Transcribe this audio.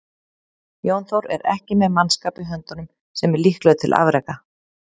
Jón Þór er ekki með mannskap í höndunum sem er líklegur til afreka.